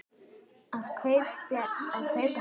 Það kaupi hann á netinu.